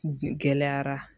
Gɛlɛyara